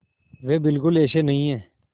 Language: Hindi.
वे बिल्कुल ऐसे नहीं हैं